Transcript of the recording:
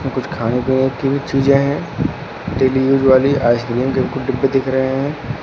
कुछ खाने पीने की भी चीजें हैं डेली यूज वाली आइसक्रीम के कुछ डिब्बे दिख रहे हैं।